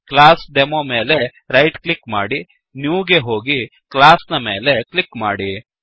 ಕ್ಲಾಸ್ಡೆಮೊ ಮೇಲೆ right click ಮಾಡಿ new ಗೆ ಹೋಗಿ ಕ್ಲಾಸ್ ನ ಮೇಲೆ ಕ್ಲಿಕ್ ಮಾಡಿ